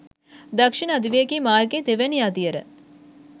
දක්ෂිණ අධිවේගී මාර්ගයේ දෙවැනි අදියර